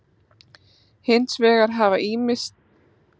Hins vegar hafa ýmsar tilraunir verið gerðar með breytingar á líkamsfrumum.